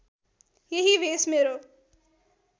यही भेष मेरो